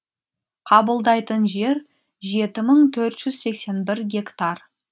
қабылдайтын жер жеті мың төрт жүз сексен бір гектар